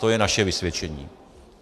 To je naše vysvědčení.